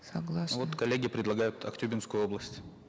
согласна ну вот коллеги предлагают актюбинскую область